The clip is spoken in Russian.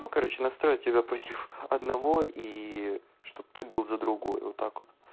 ну короче настроит тебя против одного и чтобы ты был за другое вот так вот